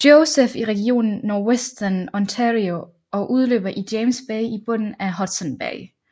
Joseph i regionen Northwestern Ontario og løber ud i James Bay i bunden af Hudson Bay